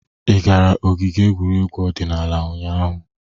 Ị gara ogige egwuregwu odịnaala ụnyaahụ?